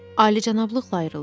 Alicənablıqla ayrıldım.